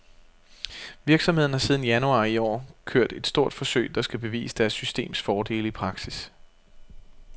Virksomheden har siden januar i år kørt et stort forsøg, der skal bevise deres systems fordele i praksis.